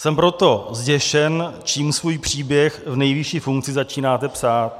Jsem proto zděšen, čím svůj příběh v nejvyšší funkci začínáte psát.